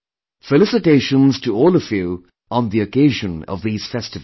Felicitations to all of you on the occasion of these festivals